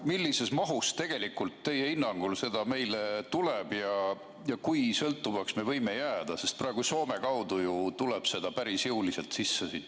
Millises mahus tegelikult teie hinnangul seda meile tuleb ja kui sõltuvaks me võime jääda, sest praegu Soome kaudu ju tuleb seda päris jõuliselt sisse?